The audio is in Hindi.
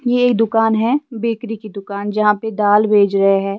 ये एक दुकान है बेकरी की दुकान जहां पर दाल भेज रहे हैं।